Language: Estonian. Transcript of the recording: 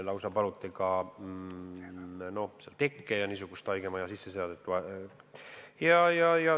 On palutud ka tekke ja haigemajade sisseseadet.